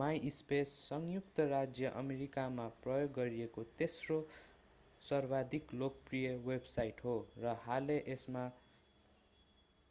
MySpace संयुक्त राज्य अमेरिकामा प्रयोग गरिएको तेस्रो सर्वाधिक लोकप्रिय वेबसाईंट हो र हालै यसमा